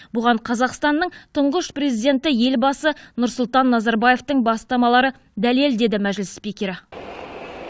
бұған қазақстанның тұңғыш президенті елбасы нұрсұлтан назарбаевтың бастамалары дәлел деді мәжіліс спикері